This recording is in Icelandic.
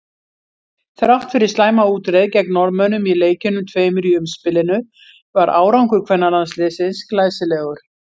Þrátt fyrir slæma útreið gegn Norðmönnum í leikjunum tveimur í umspilinu var árangur kvennalandsliðsins glæsilegur.